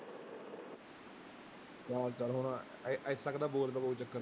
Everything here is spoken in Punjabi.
ਹੁਣ ਇ ਇੱਥੇ ਤੱਕ ਤਾਂ ਬੋਲ ਤਾਂ ਕੋਈ ਚੱਕਰ ਨੀ।